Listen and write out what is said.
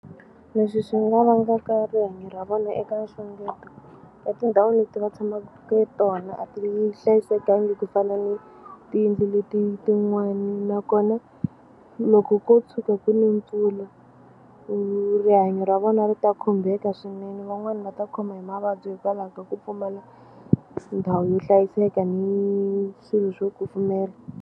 Leswi swi nga vangaka rihanyo ra vona eka nxungeto etindhawini leti va tshamaku tona a ti hlayisekangi ku fana ni tiyindlu leti tin'wani nakona loko ko tshuka ku ne mpfula rihanyo ra vona ri ta khumbeka swinene van'wani va ta khoma hi mavabyi hikwalaho ka ku pfumala ndhawu yo hlayiseka ni swilo swo kufumela.